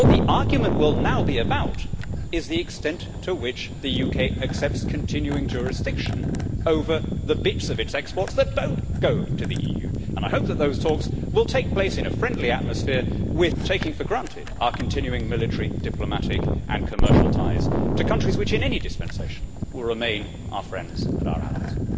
What the argument will now be about is the extent to which the UK accepts continuing jurisdiction over the bits of its exports that do not go to the EU, and I hope that those talks will take place in a friendly atmosphere, taking for granted, I hope, our continuing military, diplomatic and commercial ties to countries which, in any dispensation, will remain our friends and our allies.